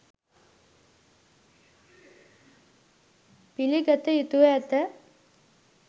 පිළිගත යුතුව ඇත